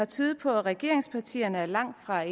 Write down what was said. tydet på at regeringspartierne langtfra er